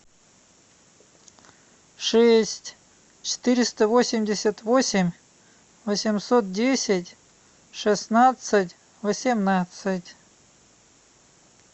шесть четыреста восемьдесят восемь восемьсот десять шестнадцать восемнадцать